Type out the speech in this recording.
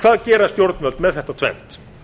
hvað gera stjórnvöld með þetta tvennt